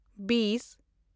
ᱵᱤᱥ